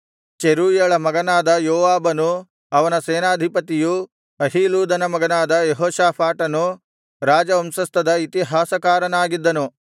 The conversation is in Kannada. ಚೆರೂಯಳ ಮಗನಾದ ಯೋವಾಬನೂ ಅವನ ಸೇನಾಧಿಪತಿಯೂ ಅಹೀಲೂದನ ಮಗನಾದ ಯೆಹೋಷಾಫಾಟನು ರಾಜವಂಶಸ್ಥದ ಇತಿಹಾಸಕಾರನಾಗಿದ್ದನು